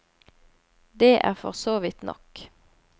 Det er for så vidt nok.